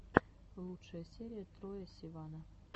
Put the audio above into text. лучшая серия троя сивана